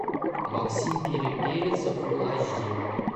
максим перепелица фулл эйч ди